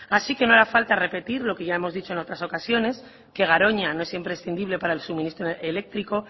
así que no hará falta repetir lo que ya hemos dicho en otras ocasiones que garoña no es imprescindible para el suministro eléctrico